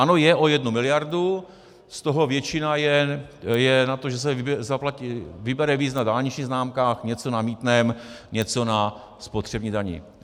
Ano, je, o jednu miliardu, z toho většina je na to, že se vybere víc na dálničních známkách, něco na mýtném, něco na spotřební dani.